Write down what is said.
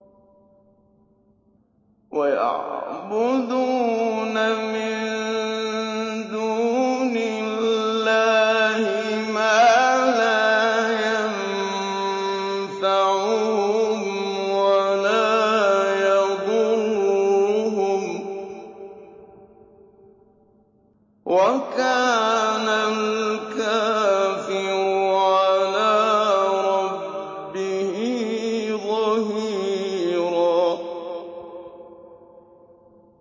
وَيَعْبُدُونَ مِن دُونِ اللَّهِ مَا لَا يَنفَعُهُمْ وَلَا يَضُرُّهُمْ ۗ وَكَانَ الْكَافِرُ عَلَىٰ رَبِّهِ ظَهِيرًا